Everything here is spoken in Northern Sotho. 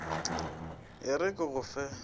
e re ke go fe